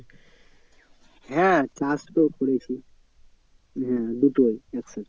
হ্যাঁ চাষ তো করেছি হ্যাঁ দুটোই এক সাথে।